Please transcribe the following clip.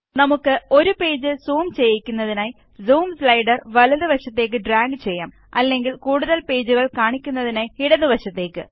നമുക്ക് ഒരു page zoom ചെയ്യിക്കുന്നതിനായി സൂം സ്ലൈഡര് വലതു വശത്തേക്ക് ഡ്രാഗ് ചെയ്യാം അല്ലെങ്കില് കൂടുതല് പേജുകള് കാണിക്കുന്നതിനായി ഇടതു വശത്തേക്ക്